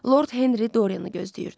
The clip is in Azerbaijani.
Lord Henri Doriani gözləyirdi.